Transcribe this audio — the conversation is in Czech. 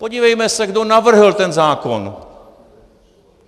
Podívejme se, kdo navrhl ten zákon.